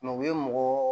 u ye mɔgɔ